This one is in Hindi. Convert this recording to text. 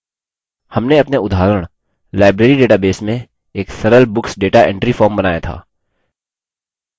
हमने अपने उदाहरण library database में एक सरल books data entry form बनाया था